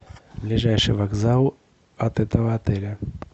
ближайший вокзал от этого отеля